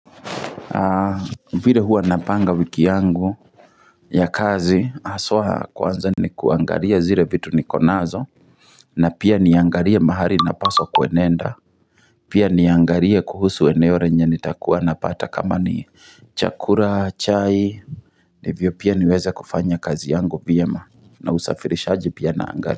Vile huwa napanga wiki yangu ya kazi haswa kwanza ni kuangalia zile vitu niko nazo na pia niangalie mahali napaswa kwenenda Pia niangalie kuhusu eneo lenye ni takuwa napata kama ni chakula, chai, ndivyo pia niweze kufanya kazi yangu vyema na usafirishaji pia naangalia.